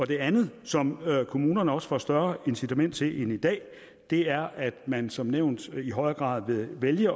det andet som kommunerne også får større incitament til end i dag er at man som nævnt i højere grad vil vælge